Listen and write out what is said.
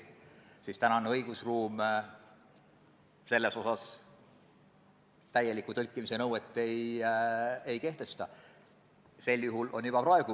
Kas teile ei tundu, et see on vastutustundetu meie inimeste suhtes, kelle jaoks need teenused mõeldud on?